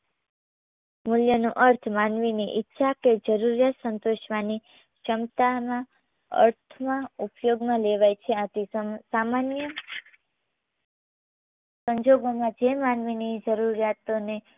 મૂલ્યનો અર્થ માનવીના ઈચ્છા કે જરૂરિયાત સંતોષવાની ક્ષમતામાં અર્થમાં ઉપયોગમાં લેવાય છે. આથી સમ સામાન્ય સંજોગોમાં જે માનવીની જરૂરિયાતોને